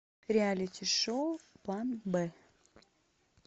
реалити шоу план б